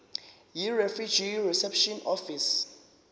yirefugee reception office